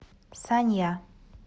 санья